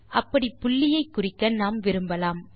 அப்படி புள்ளியை குறிக்க நாம் விரும்பலாம்